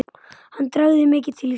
Hann dragi mikið til sín.